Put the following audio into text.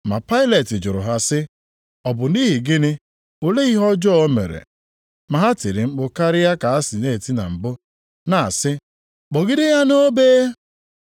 Ma Pailet jụrụ ha sị, “Ọ bụ nʼihi gịnị? Olee ihe ọjọọ o mere?” Ma ha tiri mkpu karịa ka ha si eti na mbụ, na-asị, “Kpọgide ya nʼobe!”